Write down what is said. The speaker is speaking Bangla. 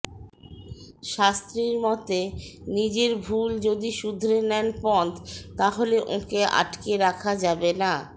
শাস্ত্রীর মতে নিজের ভুল যদি শুধরে নেন পন্থ তাহলে ওঁকে আটকে রাখা যাবে না